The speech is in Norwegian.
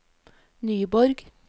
Nyborg